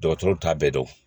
Dɔgɔtɔrɔw t'a bɛɛ dɔn